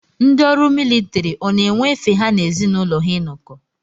Ndị ọrụ militiri ọ na-enwe efe ha na ezi n'ụlọ ha inọkọ.